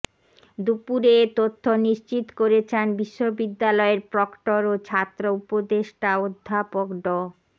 দুপুরে এ তথ্য নিশ্চিত করেছেন বিশ্ববিদ্যালয়ের প্রক্টর ও ছাত্র উপদেষ্টা অধ্যাপক ড